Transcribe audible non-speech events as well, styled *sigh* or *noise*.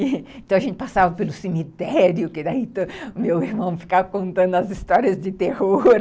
*laughs* Então, a gente passava pelo cemitério, que daí o meu irmão ficava contando as histórias de terror. *laughs*